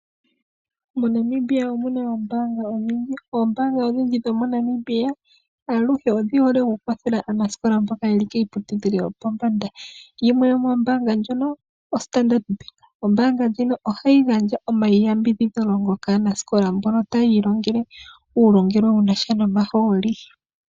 MoNamibia omuna oombaanga odhindji aluhe odhi hole oku kwathela aanasikola mboka yeli kiipitudhilo yopombanda. Yimwe yomoombaanga ndhono oStandard Bank, ombaanga ndjino ohayi gandja omayambidhidho kaanasikola mbono taya ilongele uulongelwe wunasha nomahooli.